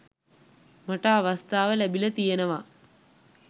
මට අවස්ථාව ලැබිලා තියෙනවා.